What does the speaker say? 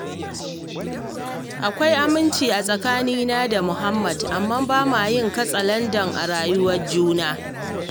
Akwai aminci a tskanina da Muhd, amma ba ma yin katsalandan a rayuwar juna